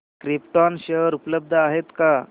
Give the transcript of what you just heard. krypton share उपलब्ध आहेत का